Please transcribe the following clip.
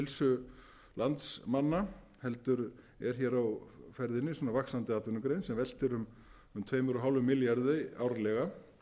lýðheilsu landsmanna heldur er hér á ferðinni vaxandi atvinnugrein sem veltir um tvö og hálfum milljarði árlega sé miðað við